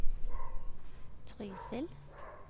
Trysil